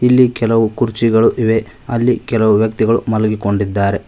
ಇಲ್ಲಿ ಕೆಲವು ಕುರ್ಚಿಗಳು ಇವೆ ಅಲ್ಲಿ ಕೆಲವು ವ್ಯಕ್ತಿಗಳು ಮಲಗಿಕೊಂಡಿದ್ದಾರೆ.